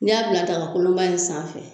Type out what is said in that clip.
N y'a bila dagakolonba in sanfɛ.